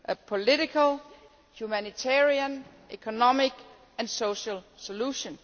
political, humanitarian, economic and social solution.